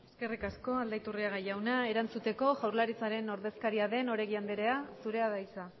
eskerrik asko aldaiturriaga jauna erantzuteko jaurlaritzaren ordezkaria den oregi andrea zurea da hitza